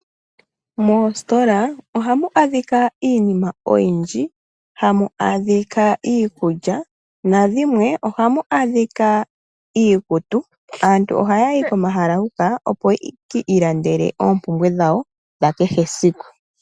Moositola ohamu adhika iinima oyindji hamu adhika iikulya, nadhimwe ohamu adhika iikutu. Aantu ohayayi komahala huka opo yeki ilandele oompumbwe dhawo dhakehe esiku.